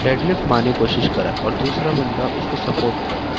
मारने की कोशिश करा और दूसरा बंदा उसको सपोर्ट कर रहा है।